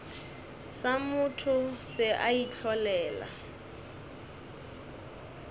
sa motho se a itlholela